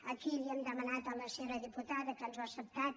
aquí li hem demanat a la senyora diputada que ens ho ha acceptat